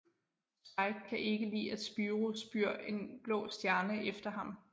Spike kan ikke lide at Spyro spyr en blå stjerne efter ham